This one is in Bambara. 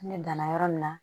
Ne danna yɔrɔ min na